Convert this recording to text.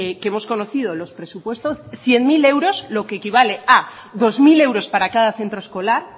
que hemos conocido los presupuestos de cien mil euros lo que equivale a dos mil euros para cada centro escolar